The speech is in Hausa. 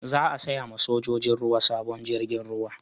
Za a saya ma sojojin ruwa sabon jirgin ruwa